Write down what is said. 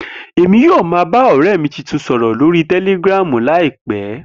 Emi yoo ma ba ọrẹ mi tuntun sọrọ lori Telegram laipẹ.